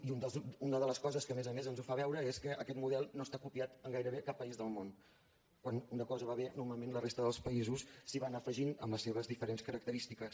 i una de les coses que a més a més ens ho fa veure és que aquest model no està copiat gairebé a cap país del món quan una cosa va bé normalment la resta dels països s’hi van afegint amb les seves diferents característiques